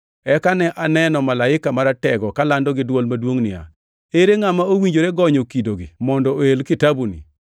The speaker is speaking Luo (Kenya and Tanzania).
Eka ne aneno malaika maratego kalando gi dwol maduongʼ niya, “Ere ngʼama owinjore gonyo kidogi mondo oel kitabuni?”